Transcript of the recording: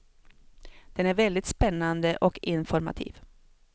Den är väldigt spännande och informativ.